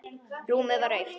Rúmið var autt.